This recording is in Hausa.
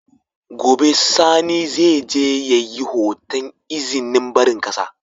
Gobe sani zai je yayi hoton izinin barin ƙasa